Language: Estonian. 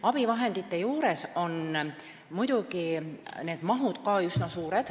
Abivahendite maht on muidugi ka üsna suur.